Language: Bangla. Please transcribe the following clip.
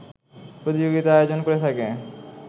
প্রতিযোগিতা আয়োজন করে থাকে